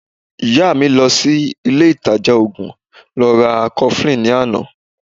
Ìyá mi lọ sí ile ìtajà oògùn lọ ra cofflin ní àná